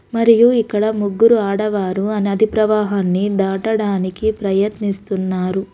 మరియు ఇక్కడ ముగ్గురు ఆడవారు ఆ నది ప్రవాహాన్ని దాటడానికి ప్రయత్నిస్తున్నారు.